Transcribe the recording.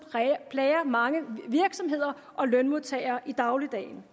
plager mange virksomheder og lønmodtagere i dagligdagen